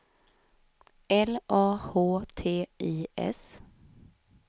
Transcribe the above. L A H T I S